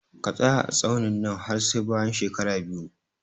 Ka tsaya a tsaunin nan har sai bayan shekara biyu